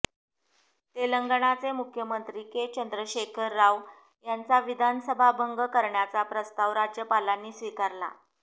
तेलंगणाचे मुख्यमंत्री के चंद्रशेखर राव यांचा विधानसभा भंग करण्याचा प्रस्ताव राज्यपालांनी स्वीकारला